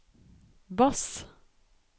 bass